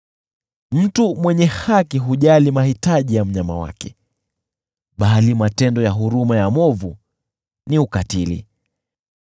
Mtu mwenye haki hujali mahitaji ya mnyama wake, bali matendo ya huruma ya mwovu ni ukatili.